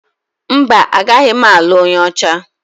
Mba, agaghị m alụ onye ọcha.